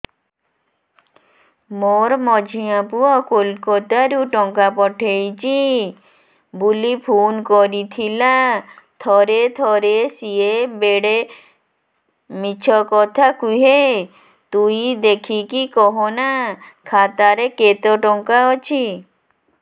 ମୋର ମଝିଆ ପୁଅ କୋଲକତା ରୁ ଟଙ୍କା ପଠେଇଚି ବୁଲି ଫୁନ କରିଥିଲା ଥରେ ଥରେ ସିଏ ବେଡେ ମିଛ କଥା କୁହେ ତୁଇ ଦେଖିକି କହନା ଖାତାରେ କେତ ଟଙ୍କା ଅଛି